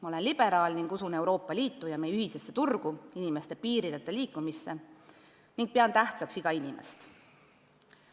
Ma olen liberaal ning usun Euroopa Liitu ja meie ühisesse turgu, inimeste piirideta liikumisse ning pean tähtsaks iga inimest.